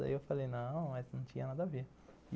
Daí eu falei, não, mas não tinha nada a ver.